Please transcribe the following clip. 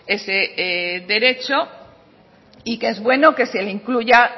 ese derecho y que es bueno que se la incluya